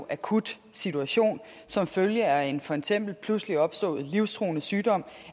akut situation som følge af en for eksempel pludselig opstået livstruende sygdom